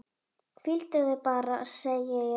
Hvíldu þig bara, segi ég.